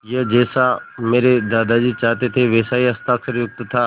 यह जैसा मेरे दादाजी चाहते थे वैसा ही हस्ताक्षरयुक्त था